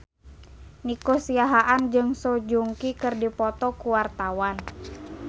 Nico Siahaan jeung Song Joong Ki keur dipoto ku wartawan